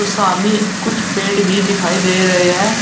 सामने कुछ पेड़ भी दिखाई दे रहे हैं।